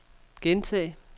gentag